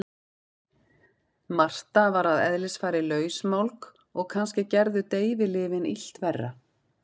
Marta var að eðlisfari lausmálg og kannski gerðu deyfilyfin illt verra.